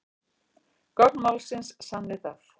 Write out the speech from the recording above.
Gögn málsins sanni það